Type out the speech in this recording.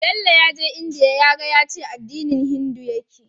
Bello yaje india yaga yace addini hindu yake